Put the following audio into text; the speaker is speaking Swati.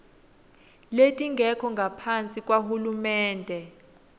letingekho ngaphasi kwahulumende